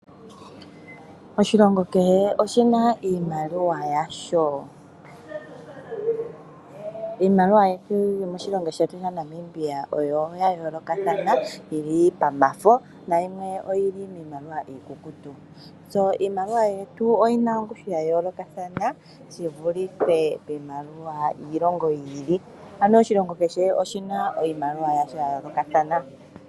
Oshilongo kehe oshina iimaliwa yasho, iimaliwa yetu yomoshilongo shetu sha Namibia oyo ya yoolokathana yili pamafo nayimwe piimaliwa iikukutu . Iimaliwa Yetu oyina ongushu ya yoolokathana a yi vulithe iimaliwa yiilongo yi iki. Ano Oshilongo kehe oshina iimaliwa ya yoolokathana.